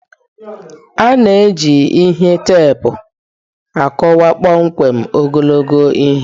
A na-eji ihe teepu akọwa kpọmkwem ogologo ihe.